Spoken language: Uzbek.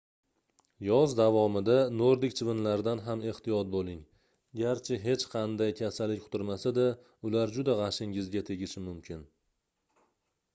yoz davomida nordik chivinlaridan ham ehtiyot boʻling garchi hech qanday kasallik yuqtirmasa-da ular juda gʻashingizga tegishi mumkin